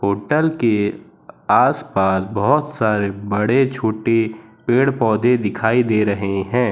Hotel के आसपास बहोत सारे बड़े छोटे पेड़ पौधे दिखाई दे रहे हैं।